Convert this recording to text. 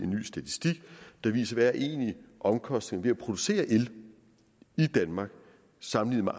ny statistik der viser hvad omkostningen er producere el i danmark sammenlignet